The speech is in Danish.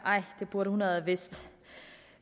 det burde hun have vidst